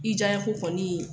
I diya n ye ko kɔni !